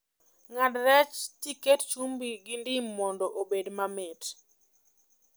Ng'ad rech tiket chumbi gi ndim mondo obed mamit